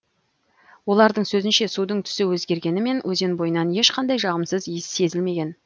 олардың сөзінше судың түсі өзгергенімен өзен бойынан ешқандай жағымсыз иіс сезілмеген